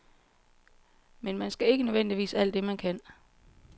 Men man skal ikke nødvendigvis alt det, man kan.